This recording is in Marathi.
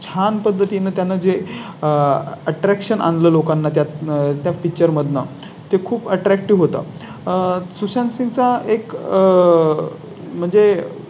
छान पद्धतीने त्यांना जे आह Attraction लोकांना त्यात. आह Attraction लोकांना त्या त्या Picture मधून ते खूप Attractive होतं आह सुशांत चा एक म्हणजे